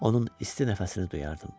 Onun isti nəfəsini duyardım.